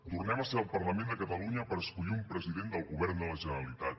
tornem a ser al parlament de catalunya per a escollir un president del govern de la generalitat